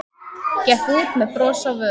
Gekk út með bros á vör.